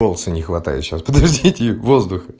голоса не хватает сейчас подождите воздуха